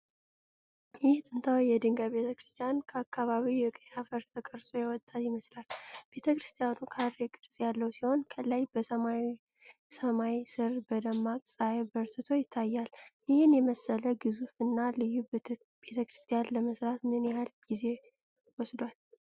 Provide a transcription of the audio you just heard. ይህ ጥንታዊ የድንጋይ ቤተክርስቲያን ከአካባቢው የቀይ አፈር ተቀርጾ የወጣ ይመስላል። ቤተክርስቲያኑ ካሬ ቅርጽ ያለው ሲሆን፣ ከላይ በሰማያዊ ሰማይ ሥር በደማቅ ፀሐይ በርትቶ ይታያል። ይህን የመሰለ ግዙፍ እና ልዩ ቤተክርስቲያን ለመሥራት ምን ያህል ጊዜ ወስዷል?